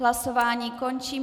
Hlasování končím.